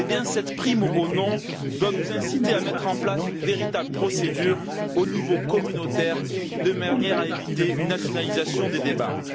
Cette prime au non doit nous inciter à mettre en place une véritable procédure au niveau communautaire de manière à éviter une nationalisation des débats.